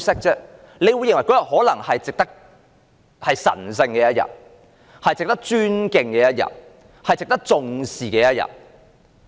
可能有意見認為這是神聖的一天、值得尊敬的一天、值得重視的一天。